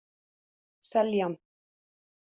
Seljan